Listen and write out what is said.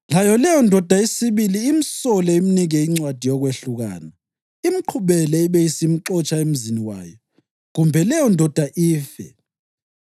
layo leyondoda yesibili imsole imnike incwadi yokwehlukana, imqhubele ibe isimxotsha emzini wayo, kumbe leyondoda ife,